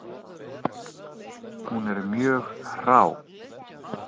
Hún er mjög hrá.